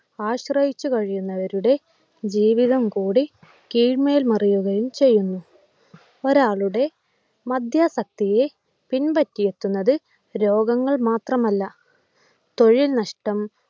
ആശ്രയിച്ചു കഴിയുന്നവരുടെ ജീവിതം കൂടി കീഴ്മേൽ മറിയുകയും ചെയ്യുന്നു. ഒരാളുടെ മദ്യാസക്തിയെ പിൻപറ്റിയിരിക്കുന്നത് രോഗങ്ങൾ മാത്രമല്ല തൊഴിൽ നഷ്ടം